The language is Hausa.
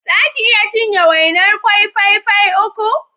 Za ki iya cinye wainar ƙwai fai fai uku?